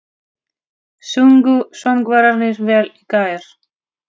Sungu söngvararnir vel í gær?